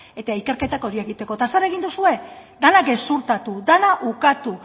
eta ikerketa hori egiteko eta zer egin duzue dena gezurtatu dena ukatu